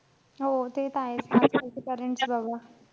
हो ते त आहेच. आजकालचे parents बाबा.